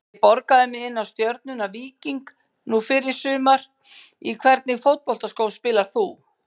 ég borgaði mig inná stjörnuna- víking nú fyrr í sumar Í hvernig fótboltaskóm spilar þú?